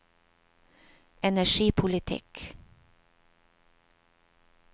energipolitikk